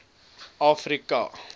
afrika